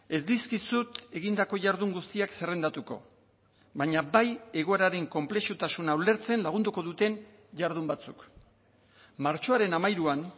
ez dizkizut egindako jardun guztiak zerrendatuko baina bai egoeraren konplexutasuna ulertzen lagunduko duten jardun batzuk martxoaren hamairuan